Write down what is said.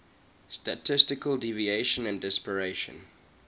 statistical deviation and dispersion